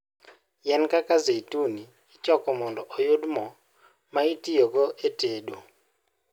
Yien kaka zeituni ichoko mondo oyud mo, ma itiyogo e tedo.